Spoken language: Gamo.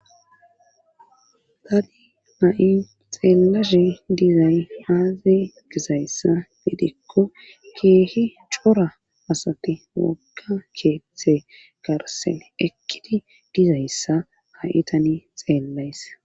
tani a7i xeellashe dizay aaze gizayssa gidekko keehi cora asati wokka keethe garsen ekkidi dizayssa haitani xeellays